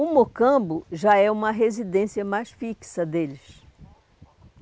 O Mocambo já é uma residência mais fixa deles.